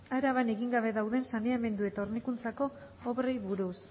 araban egin gabe dauden saneamendu eta hornikuntzako obrei buruz